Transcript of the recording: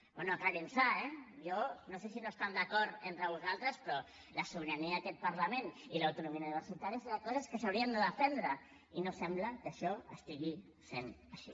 bé aclareixin se eh jo no sé si no esteu d’acord entre vosaltres però la sobirania d’aquest parlament i l’autonomia universitària deuen ser coses que s’haurien de defendre i no sembla que això sigui així